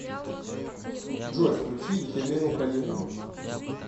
джой включи елену калинину